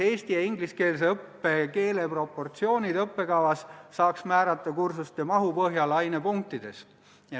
Eesti- ja ingliskeelse õppe keeleproportsioonid õppekavas saaks määrata kursuste mahu põhjal ainepunktides.